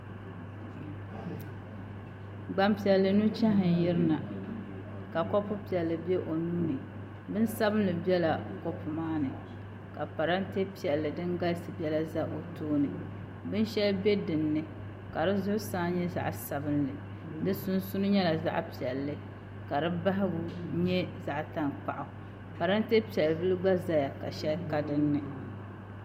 Gbanpiɛllli nuchɛhi n yirina ka kopu piɛlli bɛ o nuuni bin sabinli bɛla kopu maani ka parantɛ piɛlli din galisi biɛla bɛ o tooni bin shɛli bɛ dinni ka di zuɣusaa nyɛ zaɣ sabinli di sunsuuni nyɛla zaɣ piɛlli ka di bahagu nyɛ zaɣ tankpaɣu parantɛ piɛlli gba ʒɛya ka shɛli ka dinni